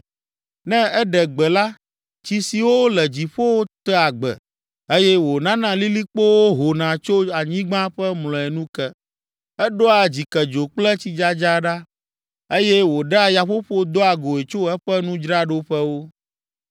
Ne eɖe gbe la, tsi siwo le dziƒowo tea gbe eye wònana lilikpowo hona tso anyigba ƒe mlɔenu ke. Eɖoa dzikedzo kple tsidzadza ɖa eye wòɖea yaƒoƒo doa goe tso eƒe nudzraɖoƒewo.